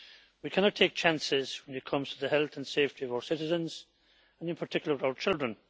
We cannot take chances when it comes to the health and safety of our citizens and in particular, our children.